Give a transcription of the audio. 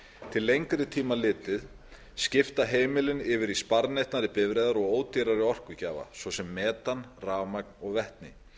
til lengri tíma litið skipta heimilin yfir í sparneytnari bifreiðar og ódýrari orkugjafa svo sem metan rafmagn og vetni